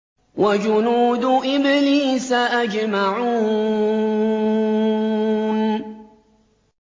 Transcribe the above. وَجُنُودُ إِبْلِيسَ أَجْمَعُونَ